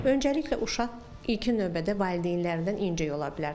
Önəcəliklə uşaq ilkin növbədə valideynlərdən incəyə ola bilər.